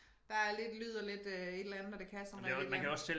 Der er lidt lyd og lidt øh et eller andet og det kan sådan et eller andet